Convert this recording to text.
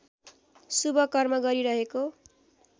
शुभ कर्म गरिहेको